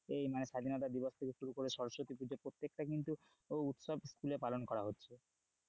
এই মানে স্বাধীনতা দিবস থেকে শুরু করে সরস্বতী পূজা প্রত্যেকটা কিন্তু উৎসব স্কুলে পালন করা হচ্ছে,